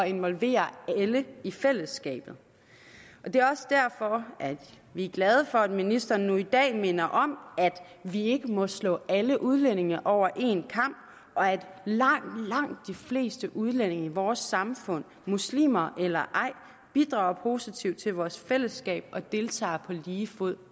involvere alle i fællesskabet det er også derfor vi er glade for at ministeren nu i dag minder om at vi ikke må slå alle udlændinge over en kam og at langt langt de fleste udlændinge i vores samfund muslimer eller ej bidrager positivt til vores fællesskab og deltager på lige fod